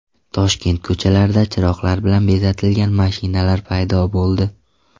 Toshkent ko‘chalarida chiroqlar bilan bezatilgan mashinalar paydo bo‘ldi.